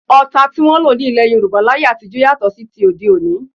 Ọta tí wọn ń lò ní ilẹ́ Yorùbá láyé àtijọ́ yàtọ̀ sí ti òde òní